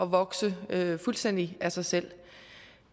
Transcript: vokse fuldstændig af sig selv